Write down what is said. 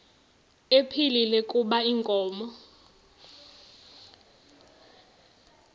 ephilile kuba inkomo